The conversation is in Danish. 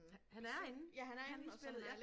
Han han er inde i spjældet ja